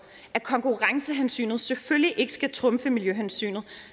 at konkurrencehensynet selvfølgelig ikke skal trumfe miljøhensynet